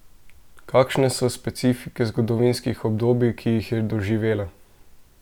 Kakšne so specifike zgodovinskih obdobij, ki jih je doživela?